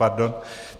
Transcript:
Pardon.